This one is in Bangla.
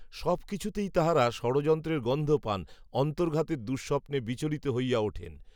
সব কিছুতেই তাঁহারা ষড়যন্ত্রের গন্ধ পান, অন্তর্ঘাতের দুঃস্বপ্নে বিচলিত হইয়া ওঠেন